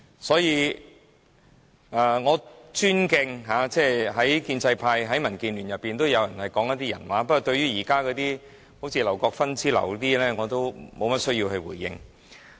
所以，我尊敬在建制派、民建聯當中都有人會說人話，不過對於現時如劉國勳議員之流，我也沒有需要去回應。